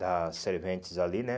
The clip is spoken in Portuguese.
das serventes ali, né?